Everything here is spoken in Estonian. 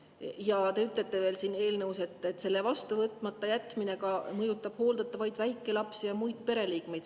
Ja te ütlete veel siin eelnõus, et selle vastu võtmata jätmine mõjutab hooldatavaid väikelapsi ja muid pereliikmeid.